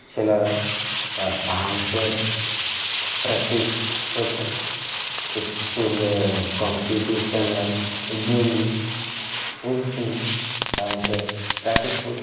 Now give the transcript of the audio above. ছেলেরা একটা ডান্স -এর প্রাকটিস-স করছে। ইস্কুল -এ কম্পিটিশন -এর জন্যে খুব সুন্দর ডান্স -এর প্রাকটিস কর--